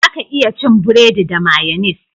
Za ka iya cin buredi da mayonis